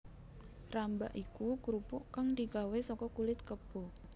Rambak iku krupuk kang digawé saka kulit kebo